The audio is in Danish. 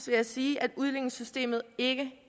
jeg sige at udligningssystemet ikke